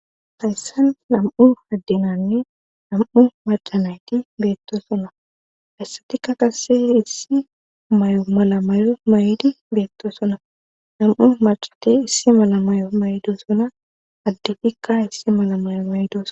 hayssan nam7u addenanne nam7u macanayti beettosona hissatika qasse issi may7o mala mayo maydi beetto sona nam7u macati issi mala mayo maydo sona addetikka issi mala mayo mayidosona